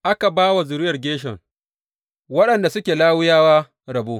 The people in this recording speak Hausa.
Aka ba wa zuriyar Gershon, waɗanda suke Lawiyawa, rabo.